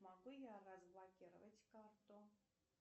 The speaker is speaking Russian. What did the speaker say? могу я разблокировать карту